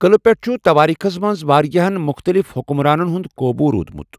قلعہ پیٹھ چھٗ تواریخس منز وارِیاہن مٗختلِف حٗكمرانن ہٗند قوبوُ روُدمٗت ۔